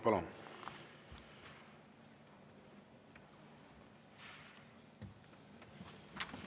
Palun!